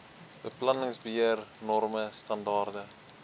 beplanningsbeheer norme standaarde